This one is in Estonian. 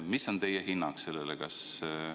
Mis on teie hinnang sellele?